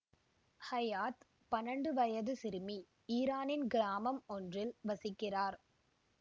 Hyatt பன்னண்டு வயது சிறுமி ஈரானின் கிராமம் ஒன்றில் வசிக்கிறார்